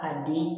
A den